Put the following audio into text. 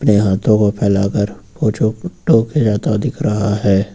ये हाथों को फैला कर वो जो दिख रहा है।